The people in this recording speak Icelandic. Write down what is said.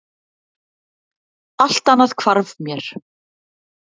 Allt annað hvarf mér.